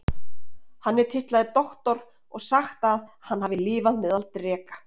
Hann er titlaður Doktor og sagt að hann hafi lifað meðal dreka.